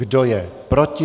Kdo je proti?